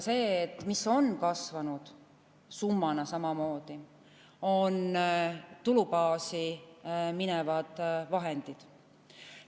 Seetõttu, et on kasvanud, summana samamoodi, tulubaasi minevad vahendid.